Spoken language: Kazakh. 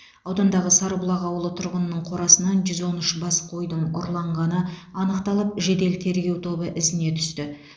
аудандағы сарыбұлақ ауылы тұрғынының қорасынан жүз он үш бас қойдың ұрланғаны анықталып жедел тергеу тобы ізіне түсті